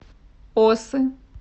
осы